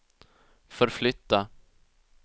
förflytta